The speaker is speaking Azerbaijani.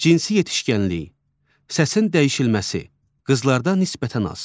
Cinsi yetişkənlik, səsin dəyişilməsi qızlarda nisbətən az.